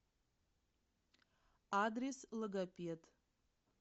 адрес логопед